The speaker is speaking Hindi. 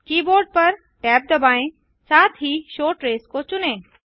कीबोर्ड पर टैब दबाएँ साथ ही शो ट्रेस को चुनें